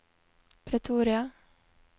Pretoria